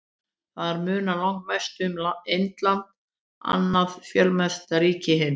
Þar munar langmest um Indland, annað fjölmennasta ríki heims.